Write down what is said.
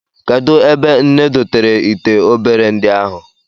Kedụ ebe nne dotere ite obere ndị ahụ?